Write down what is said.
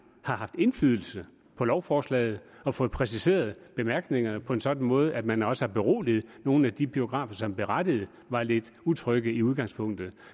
har haft indflydelse på lovforslaget og fået præciseret bemærkningerne på en sådan måde at man også har beroliget nogle af de biografer som berettiget var lidt utrygge i udgangspunktet